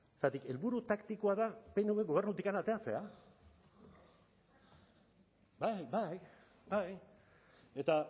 zergatik helburu taktikoa da pnv gobernutik ateratzea bai bai eta